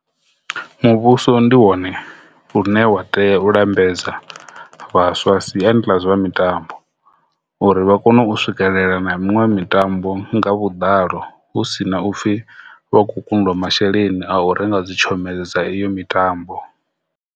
Muvhuso ndi wone une wa tea u lambedza vhaswa siani ḽa zwa mitambo uri vha kone u swikelela na miṅwe mitambo nga vhuḓalo hu si na upfhi vha khou kundiwa masheleni a u renga dzi tshomedzo dza iyo mitambo.